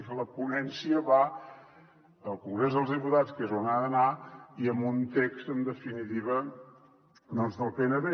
escolti la ponència va al congrés dels diputats que és on ha d’anar i amb un text en definiti·va doncs del pnb